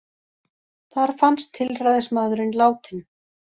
Þar fannst tilræðismaðurinn látinn